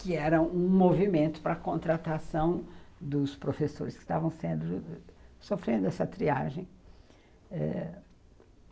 que era um movimento para a contratação dos professores que estavam sendo sofrendo essa triagem.